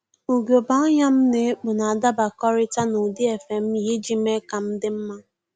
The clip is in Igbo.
Ugegbe anya m na-ekpu na-adabakọrịta n'ụdị efe m yi iji mee ka m dị mma